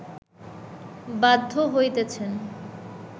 বাধ্য হইতেছেন